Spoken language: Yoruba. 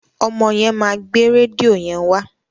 Ọmọ yẹn máa gbé rédíò yẹn wa.